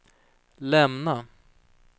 lämna